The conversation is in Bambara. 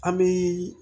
An bɛ